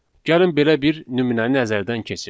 Gəlin belə bir nümunəyə nəzərdən keçirdək.